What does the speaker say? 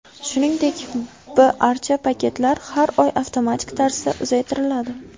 Shuningdek, b archa paketlar har oy avtomatik tarzda uzaytiriladi.